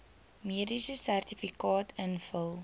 mediese sertifikaat invul